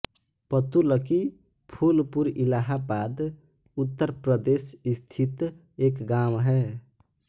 पतुलकी फूलपुर इलाहाबाद उत्तर प्रदेश स्थित एक गाँव है